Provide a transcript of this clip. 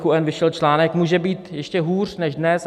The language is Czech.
N vyšel článek: Může být ještě hůř než dnes?